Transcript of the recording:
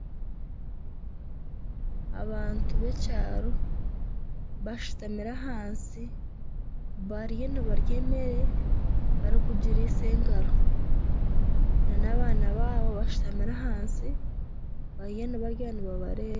Abantu b'ekyaro bashutamire ahansi bariyo nibarya emere barikugirisa engaro n'abaana baabo bashutamire ahansi bariyo nibarya nibabareeba.